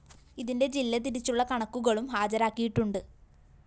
ഇതിന്റെ ജില്ല തിരിച്ചുള്ള കണക്കുകളും ഹാജാരക്കിയിട്ടുണ്ട്